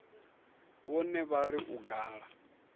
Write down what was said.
vhone vha ri u gala